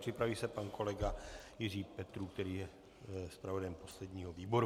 Připraví se pan kolega Jiří Petrů, který je zpravodajem posledního výboru.